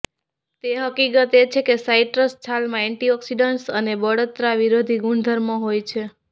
તે હકીકત એ છે કે સાઇટ્રસ છાલમાં એન્ટિઓક્સિડન્ટ અને બળતરા વિરોધી ગુણધર્મો હોય છે